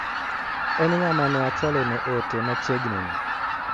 En ng'ama ne achwalo ne ote machiegni ni?